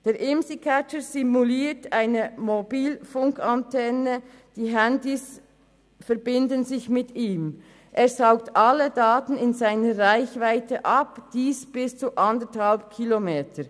Der Imsi-Catcher simuliert eine Mobilfunkantenne, die Handys verbinden sich mit ihm, er saugt alle Daten in seiner Reichweite ab, und dies im Umkreis von bis zu 1,5 Kilometern.